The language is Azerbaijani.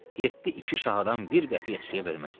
7 iki şahadan bir qəpiyə əskiyə verməzdilər.